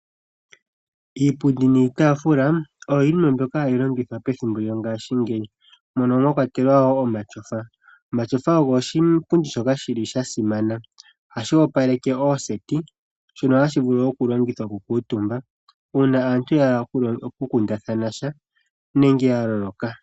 Iipundi niitaafula oyo yimwe mbyoka hayi longithwa pethimbo lyongaashingeyi, mono mwakwatelwa omatyofa. Omatyofa ogo oshipundi shoka shili shasimana , ohashi opaleke ooseti. Shono hashi vulu okulongithwa okukuutumba. Uuna aantu yeya okukundathana sha nenge yaloloka.